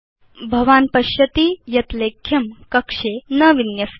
भवान् पश्यति यत् लेख्यं कक्षे न विन्यस्ति